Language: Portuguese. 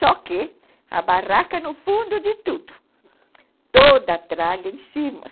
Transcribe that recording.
Só que a barraca no fundo de tudo, toda a tralha em cima.